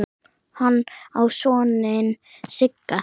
Hann á soninn Sigga.